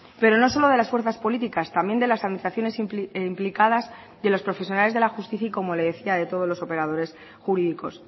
pero no solo de las fuerzas políticas también de las administraciones implicadas y de los profesionales de la justicia y como le decía de todos los operadores jurídicos